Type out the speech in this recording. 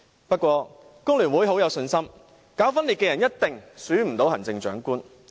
不過，工聯會很有信心，搞分裂的人一定不可能被選為行政長官。